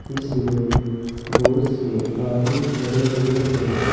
इसमें बहुत से आदमी खड़े हुए हैं।